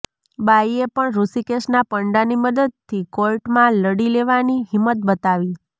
બાઇએ પણ ઋષિકેશના પંડાની મદદથી કોર્ટમાં લડી લેવાની હિંમત બતાવી